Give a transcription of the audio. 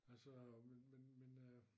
Altså men men men øh